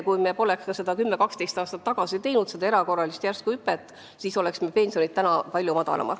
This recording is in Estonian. Kui me poleks ka 10–12 aastat tagasi teinud erakorralist järsku hüpet, siis oleks pensionid praegu palju madalamad.